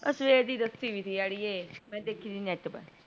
ਅੱਜ ਸਵੇਰ ਥੀ ਦੱਸੀ ਵੀ ਥੀ ਅੜੀਏ ਮੈਂ ਦੇਖਿ ਥੀ net ਪਰ